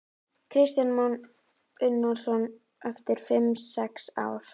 Kristján Már Unnarsson: Eftir fimm sex ár?